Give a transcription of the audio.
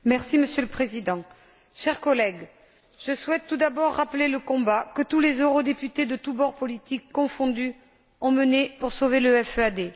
Monsieur le Président, chers collègues, je souhaite tout d'abord rappeler le combat que tous les eurodéputés de tous bords politiques confondus ont mené pour sauver le FEAD.